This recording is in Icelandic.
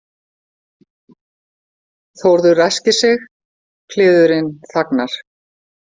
Þórður ræskir sig, kliðurinn þagnar.